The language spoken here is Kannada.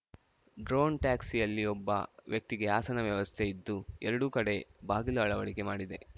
ಡ್ರೋನ್‌ ಟ್ಯಾಕ್ಸಿಯಲ್ಲಿ ಒಬ್ಬ ವ್ಯಕ್ತಿಗೆ ಆಸನ ವ್ಯವಸ್ಥೆ ಇದ್ದು ಎರಡೂ ಕಡೆ ಬಾಗಿಲು ಅಳವಡಿಕೆ ಮಾಡಿದೆ